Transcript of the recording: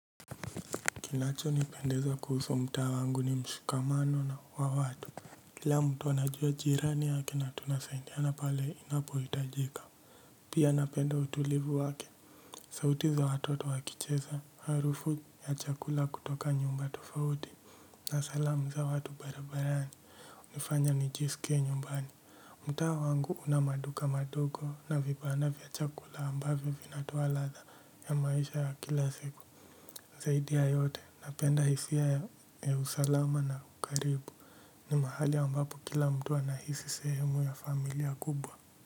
Kinacho nipendeza kuhusu mtaa wangu ni mshikamano na watu kila mtu anajua jirani yake na tunasaidiana pale inapo hitajika pia napenda utulivu wake sauti za watoto wakicheza harufu ya chakula kutoka nyumba tofauti na salamu za watu barabarani hunifanya nijisikie nyumbani mtaa wangu una maduka madogo na vibanda vya chakula ambavyo vinatoa ladha ya maisha ya kila siku. Zaidi ya yote napenda hisia ya usalama na karibu ni mahali ambapo kila mtu anahisi sehemu ya familia kubwa.